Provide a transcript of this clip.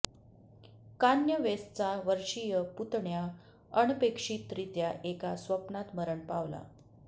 Kanye वेस्टचा वर्षीय पुतण्या अनपेक्षितरित्या एका स्वप्नात मरण पावला